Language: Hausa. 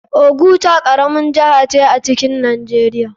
Oguta karamin jiha ce a cikin nijeria.